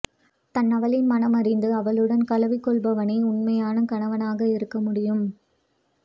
தன்னவளின் மனம் அறிந்து அவளுடன் கலவி கொள்பவனே உண்மையான கணவனாக இருக்க முடியும்